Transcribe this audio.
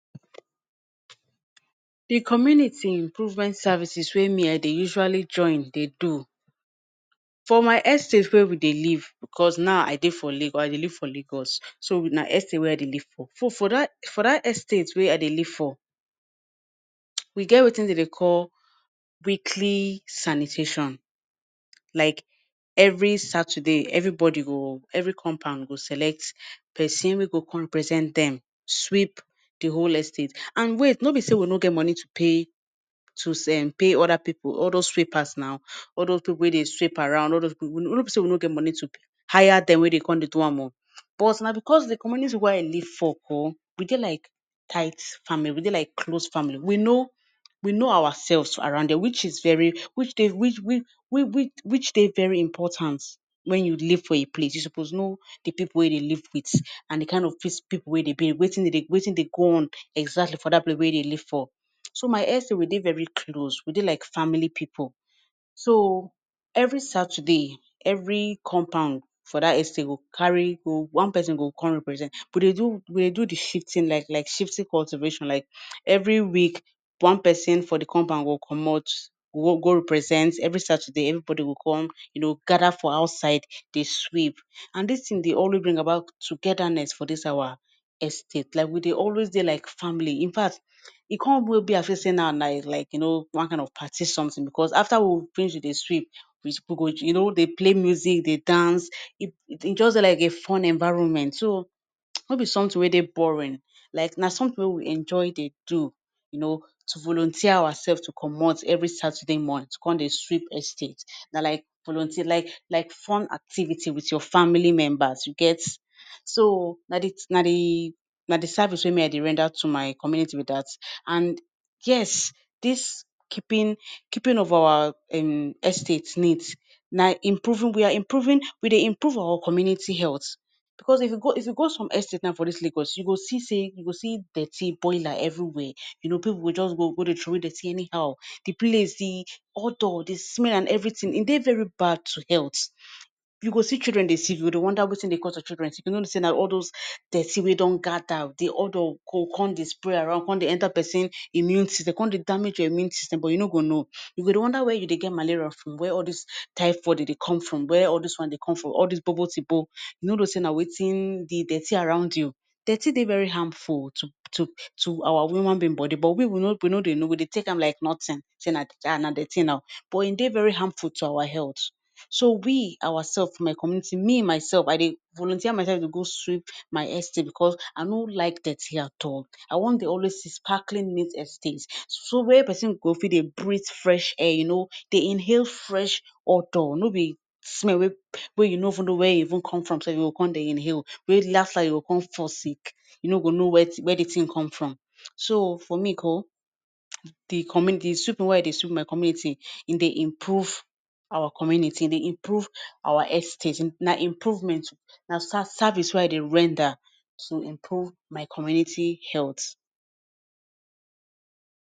Di community improvement services wey me, I de usually join dey do. For my estate wia we dey live, bicos now i de for Lagos, I de live for Lagos, so na estate wey I de live for. For dat estate wey I de live for we get wetin de dey call weekly sanitation. Like, evri Saturday, evribody go, evri compound go select pesin wey go come represent dem sweep di whole estate. And wait, no be say we no get money to pay, to say em pay oda pipu, all those sweepers, now, all those pipu wey de sweep around. No be sey we no get money to hire dem wey de come de do am o, but na bicos di community where I live for ko, we de like tight family, we de like close family. We know, we know oursefs around there, which is very, which de, which de, very important. wen you live for a place, you supposed know di pipu wey you de live with and di kind of pipu wey de be. Wetin de go on exactly for dat place wey you de live for. So, my estate, we dey very close. We de like family pipu. So, evri Saturday, evri compound for that estate go carry, one pesin go come represent. We de do, we do di shifting like, like shifting cultivation, like, evri week, one person for di compound go comot, go go represent evri Saturday, evribody go come, you know gada for outside de sweep. And dis tin, dey always bring about togedaness for this our estate. Like, we de always de like family. In fact, e come be like say you know one kind of party sometin, bicos afta we finish with di sweep, you know we go dey play music dey dance e just dey like a fun environment, so nobi sometin wey dey boring, like na sometin wey we enjoy dey do, you know to volunteer oursefs to comot evri Saturday morning to come dey sweep estate, na like volunteer like like fun activities wit family members you get. So, na di na deee na di service wey me I de render to our community be dat, and yes, dis keeping, keeping of our em estate neat, na em improving we are improving we de improve our community health. coz if you go, if you go some estate now, for dis lagos, you go see say, you go see dirty, bola evri wia, you know pipu go just go dey troway dirty anyhow, di place, di odour, di smell and evritin, e dey very bad to health, you go see children dey sick you go dey wonder wetin dey make your children dey sick, you no know say na all dos dirty wen don gada di odour go come dey spread around go come dey enta pesin immune system, come dey damage your immune system but you no go know, you go dey wonder wia you dey get malaria from, where all dis typhoid dey dey come from, wia all dis one dey come from all dis gbogbotigbo. You no know say na wetin, di dirty around you. Dirty dey very harmful to to tu our human being body but we we no dey know, we dey take am like nothing, say na dirty ah na dirty now, but em dey very harmful to our health, so we our sef, for my community, me mysef I dey volunteer myself to go sweep my estate because I no like dirty at all I wan dey always see sparkling neat estate, so where pesin go fit dey breathe fresh air you know, dey inhale fresh odour nobi smell wey wey you no even know wia e even come from you go come dey inhale. Wey Las Las you go come fall sick, you no go know wia di tin come from. So, for me ko, di communi di sweeping wey I de sweep for my community, e dey improve our community, e dey improve our estate, na improvement na ser service wey I dey render to improve my community health.